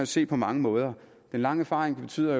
se på mange måder den lange erfaring betyder